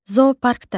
Zooparkda.